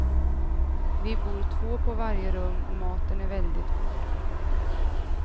Vi bor två på varje rum och maten är väldigt god.